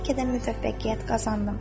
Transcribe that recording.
Bəlkə də müvəffəqiyyət qazandım.